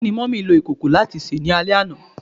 Kini Mummy lo ikoko lati se ni ale ana?